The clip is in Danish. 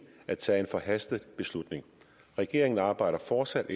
at tage en forhastet beslutning regeringen arbejder fortsat